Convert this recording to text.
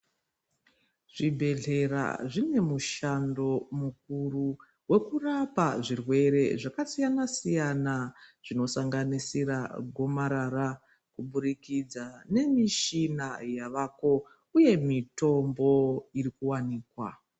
Zvibhedhlera zvine mushando mukuru vokurapa zvirwere zvakasiyana-siyana. Zvinosanganisira gomarara kubudikidza nemishina yavako uye mitombo iri kuvanikwa.